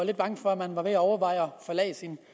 lidt bange for at man var ved at overveje at forlade sin